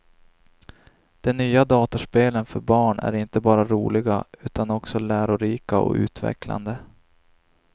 De nya datorspelen för barn är inte bara roliga, utan också lärorika och utvecklande.